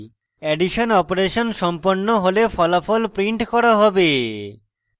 addition operation সম্পন্ন হলে ফলাফল printed করা হবে